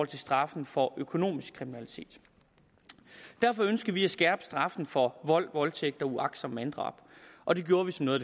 til straffen for økonomisk kriminalitet derfor ønskede vi at skærpe straffen for vold voldtægt og uagtsomt manddrab og det gjorde vi som noget